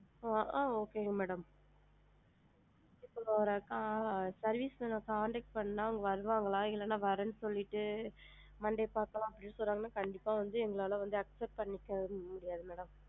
ஆ அஹ் okay ங்க madam ஆ service man ஆ contact பண்ணுனா வருவாங்களா? இல்லன்னா வரேன்னு சொல்லிட்டு monday பதுக்கலாம்ன்னு சொன்னா கண்டிப்பா வந்து எங்களால வந்து accept பன்னிக்கவே முடியாதுங்க madam